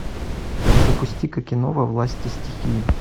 запусти ка кино во власти стихии